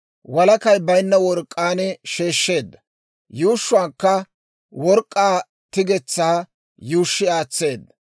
Walakay baynna work'k'aan sheeshsheedda. Yuushshuwaakka work'k'aa tigetsaa yuushshi aatseedda.